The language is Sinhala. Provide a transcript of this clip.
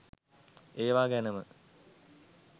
ඒවා ගැනම